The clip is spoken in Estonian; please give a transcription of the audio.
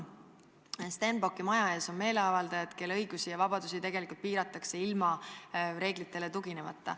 Stenbocki maja ees seisnud meeleavaldajate õigusi ja vabadusi piiratakse ilma seadustele tuginemata.